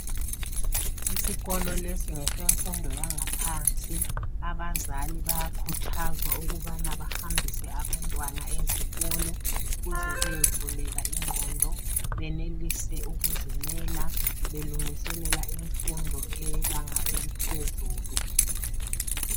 Isikolo lesi ngesimfundo yangaphansi abazali bayakhuthazwa ukubana bahambise abantwana ezikolo ukuthi beyevuleka ingqondo benelise ukuzimela belungiselela imfundo yebanga eliphezulu